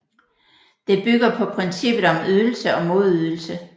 Det bygger på princippet om ydelse og modydelse